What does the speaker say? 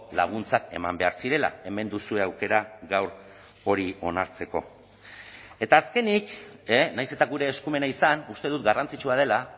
laguntzak eman behar zirela hemen duzue aukera gaur hori onartzeko eta azkenik nahiz eta gure eskumena izan uste dut garrantzitsua dela